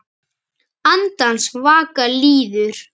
Andans vaka líður.